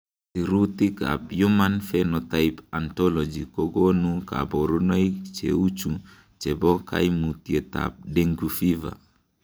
Sirutikab Human Phenotype Ontology kokonu koborunoik cheuchu chebo koimutietab Dengue fever .